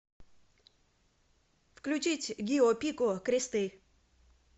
включить гио пику кресты